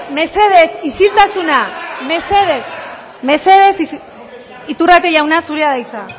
mesedez isiltasuna mesedez iturrate jauna zurea da hitza